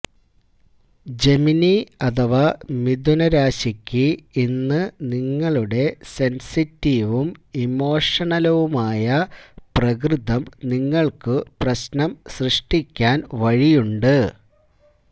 Gemini അഥവാ മിഥുന രാശിയ്ക്ക് ഇന്ന് നിങ്ങളുടെ സെന്സിറ്റീവും ഇമോഷണലുമായ പ്രകൃതം നിങ്ങള്ക്കു പ്രശ്നം സൃഷ്ടിയ്ക്കാന് വഴിയുണ്ട്